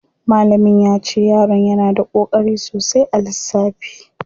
Malamin yace yaron yana da koƙari sosai a lissafi.